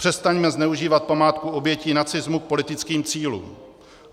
Přestaňme zneužívat památku obětí nacismu k politickým cílům.